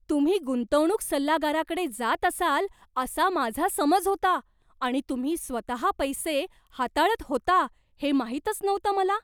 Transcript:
तुम्ही गुंतवणूक सल्लागाराकडे जात असाल असा माझा समज होता आणि तुम्ही स्वतः पैसे हाताळत होता हे माहीतच नव्हतं मला.